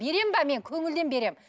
беремін бе мен мен көңілден беремін